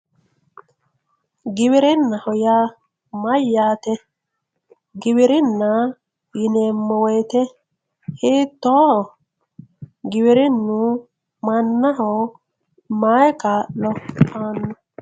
Giwirinaho yaa mayate giwirina yineemo woyite hiitoho giwirinu manaho mayi kaalo aano.